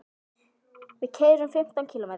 Við keyrum fimmtán kílómetra.